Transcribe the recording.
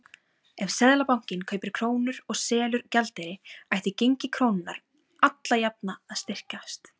Ef Seðlabankinn kaupir krónur og selur gjaldeyri ætti gengi krónunnar alla jafna að styrkjast.